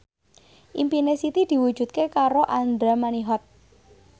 impine Siti diwujudke karo Andra Manihot